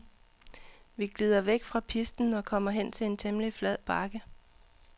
Vi glider væk fra pisten og kommer hen til en temmelig flad bakke.